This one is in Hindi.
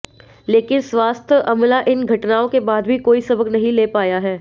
लेकिन स्वास्थ्य अमला इन घटनाओं के बाद भी कोई सबक नहीं ले पाया है